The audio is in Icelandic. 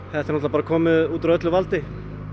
þetta er náttúrulega komið upp úr öllu valdi